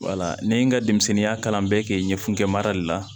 wala ne ye n ka denmisɛnninya kalan bɛɛ kɛ ɲɛfɛgɛmara de la